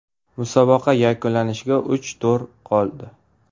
Musobaqa yakunlanishiga uch tur qoldi.